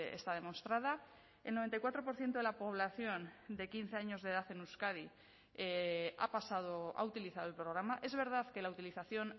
está demostrada el noventa y cuatro por ciento de la población de quince años de edad en euskadi ha pasado ha utilizado el programa es verdad que la utilización